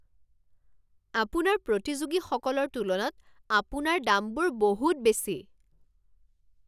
আপোনাৰ প্ৰতিযোগীসকলৰ তুলনাত আপোনাৰ দামবোৰ বহুত বেছি।